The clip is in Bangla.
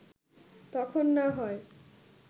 তখন না হয়